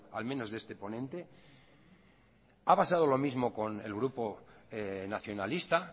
al menos de este ponente ha pasado lo mismo con el grupo nacionalista